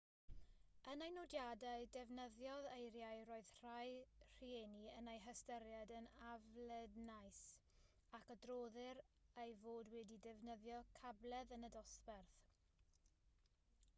yn ei nodiadau defnyddiodd eiriau roedd rhai rhieni yn eu hystyried yn aflednais ac adroddir ei fod wedi defnyddio cabledd yn y dosbarth